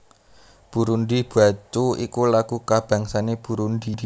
Burundi bwacu iku lagu kabangsané Burundi